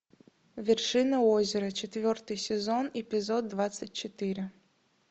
вершина озера четвертый сезон эпизод двадцать четыре